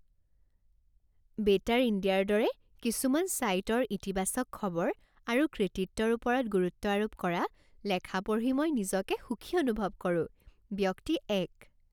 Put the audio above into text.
Better India ৰ দৰে কিছুমান ছাইটৰ ইতিবাচক খবৰ আৰু কৃতিত্বৰ ওপৰত গুৰুত্ব আৰোপ কৰা লেখা পঢ়ি মই নিজকে সুখী অনুভৱ কৰোঁ। ব্যক্তি এক